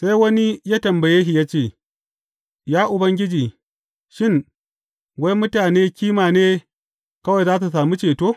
Sai wani ya tambaye shi ya ce, Ya Ubangiji, shin, wai mutane kima ne kawai za su sami ceto?